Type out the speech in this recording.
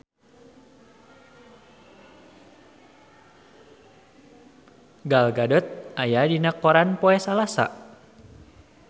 Gal Gadot aya dina koran poe Salasa